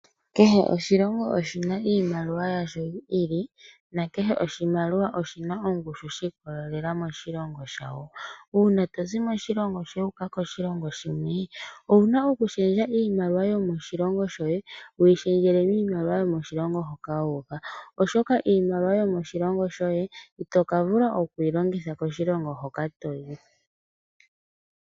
Kehe oshilongo oshina iimaliwa yasho yi ili na kehe oshimaliwa oshina ongushu shi ikolelela moshilongo shawo. Uuna tozi moshilongo shoye wu uka koshilongo shimwe owuna oku shendja iimaliwa yomoshilongo shoye wu yi shendjele miimaliwa yomoshilongo hoka wu uka oshoka iimaliwa yomoshilongo shoye itoka vula okuyi longitha koshilongo hoka toyi.